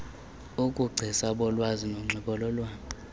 ubugcisa bolwazi nonxibelelwano